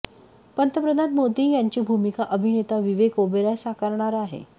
पंतप्रधान मोदी यांची भूमिका अभिनेता विवेक ओबेरॉय साकारणार आहे